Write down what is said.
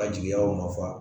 A jigiyaw nɔ fa